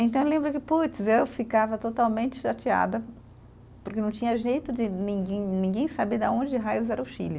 Então, eu lembro que, putz, eu ficava totalmente chateada, porque não tinha jeito de ninguém, ninguém saber de onde raios era o Chile.